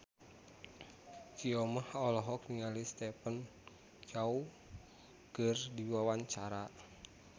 Soimah olohok ningali Stephen Chow keur diwawancara